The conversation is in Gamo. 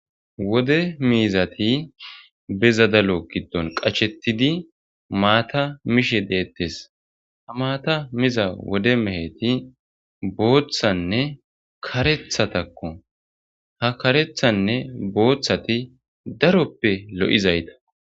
Wode miizati be zadalo giddon qacshettidi maata mishe deettes ha maata miza wode meheti booththanne karethatakko ha karethanne booththati daroppe lo7izayta.